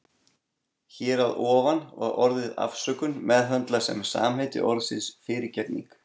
Hér að ofan var orðið afsökun meðhöndlað sem samheiti orðsins fyrirgefning.